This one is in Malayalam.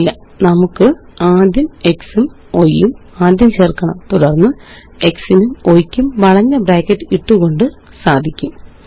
ഇല്ല നമുക്കാദ്യംx ഉംy യും ആദ്യം ചേര്ക്കണം തുടര്ന്ന് x നും y യ്ക്കും വളഞ്ഞ ബ്രാക്കറ്റിട്ടുകൊണ്ട് സാധിക്കും